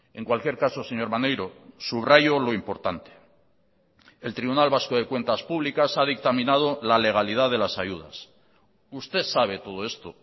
en cualquier caso señor maneiro subrayo lo importante el tribunal vasco de cuentas públicas ha dictaminado la legalidad de las ayudas usted sabe todo esto